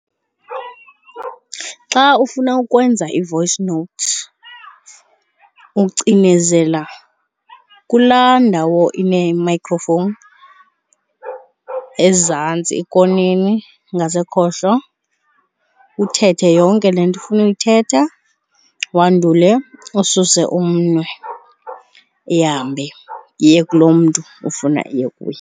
Xa ufuna ukwenza i-voice note ucinezela kulaa ndawo ine-microphone ezantsi ekoneni, ngasekhohlo, uthethe yonke le nto ofuna uyithetha. Wandule ususe umnwe, ihambe iye kulo mntu ofuna iye kuye.